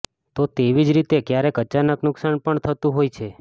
તો તેવી જ રીતે ક્યારેક અચાનક નુકશાન પણ થતું હોય છે